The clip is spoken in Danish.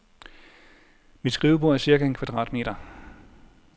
Mit skrivebord er cirka en kvadratmeter.